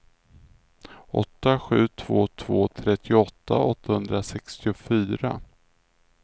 åtta sju två två trettioåtta åttahundrasextiofyra